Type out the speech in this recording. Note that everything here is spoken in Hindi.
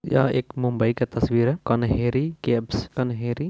यह एक मुंबई का तस्वीर है कन्हेरी केव्स कन्हेरी।